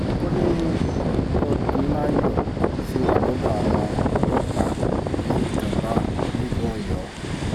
ó ní odnayo ṣì wà lọ́dọ̀ àwọn ọlọ́pàá ní durbar nílùú ọ̀yọ́